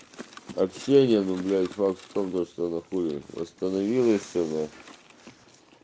общение ну блять вообще только что заходит в остановилась на